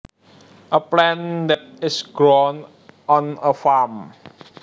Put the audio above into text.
A plant that is grown on a farm